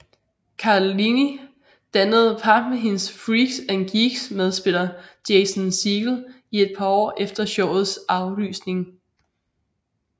Cardellini dannede par med hendes Freaks and Geeks medspiller Jason Segel i et par år efter showets aflysning